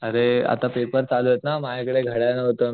आरे आता पेपर चालुयेत ना माझ्या कडे घड्याळ नहुत